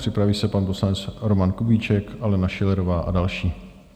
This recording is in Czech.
Připraví se pan poslanec Roman Kubíček, Alena Schillerová a další.